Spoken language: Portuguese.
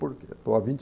Por quê? a vinte